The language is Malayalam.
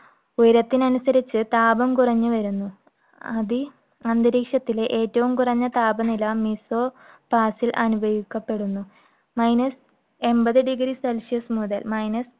ഉയരത്തിനനുസരിച്ച് താപം കുറഞ്ഞുവരുന്നു. അത് അന്തരീക്ഷത്തിലെ ഏറ്റവും കുറഞ്ഞ താപനില mesopause ൽ അനുഭവിക്കപ്പെടുന്നു. minus എൺപത് degree Celsius മുതൽ minus